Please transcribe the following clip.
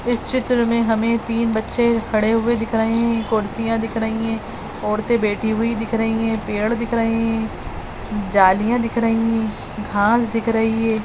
इस चित्र में हमें तीन बच्चे खड़े हुए दिखाई कुर्सियां दिख रही हैं औरतें बैठी हुई दिख रही हैं पेड़ दिख रहे हैं जालियां दिख रही हैं घास दिख रही है।